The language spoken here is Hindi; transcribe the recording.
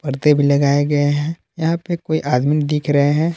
पर्दे भी लगाए गए हैं यहां पे कोई आदमी दिख रहे हैं।